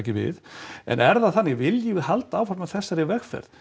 við en er það þannig viljum við halda áfram á þessari vegferð